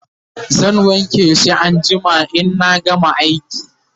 zan wanke shi anjima inna gama aiki